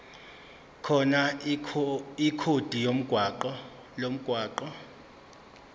khona ikhodi lomgwaqo